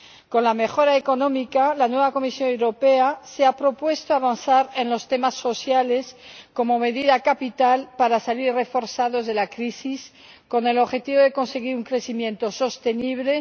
Con la mejora económica, la nueva Comisión Europea se ha propuesto avanzar en los temas sociales como medida capital para salir reforzados de la crisis, con el objetivo de conseguir un crecimiento sostenible.